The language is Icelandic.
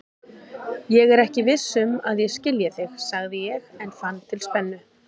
Ég er ekki viss um að ég skilji þig, sagði ég en fann til spennu.